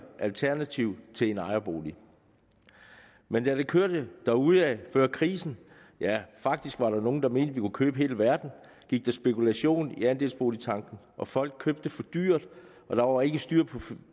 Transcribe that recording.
alternativ til en ejerbolig men da det kørte derudad før krisen ja faktisk var der nogle der mente kunne købe hele verden gik der spekulation i andelsboligtanken og folk købte for dyrt og der var ikke styr